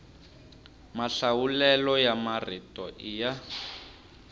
mahlawulelo ya marito i ya